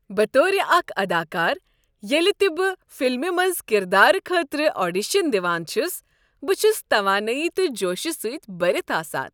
بطور اكھ اداکار، ییٚلہ تہِ بہٕ فلمہ منٛز کردارٕ خٲطرٕ آڈیشن دوان چھس، بہٕ چھس توانٲیی تہٕ جوشہٕ سۭتۍ بٔرتھ آسان۔